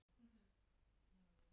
LANDSHÖFÐINGI: Níðist ég á Lárusi?